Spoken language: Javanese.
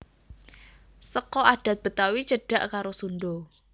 Seka adhat Betawi cedhak karo Sundha